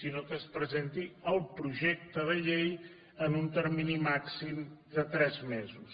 sinó que es presenti el projecte de llei en un termini màxim de tres mesos